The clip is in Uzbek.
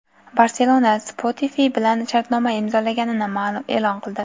"Barselona" Spotify bilan shartnoma imzolaganini e’lon qildi.